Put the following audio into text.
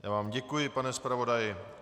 Já vám děkuji, pane zpravodaji.